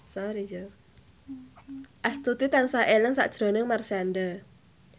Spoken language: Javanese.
Astuti tansah eling sakjroning Marshanda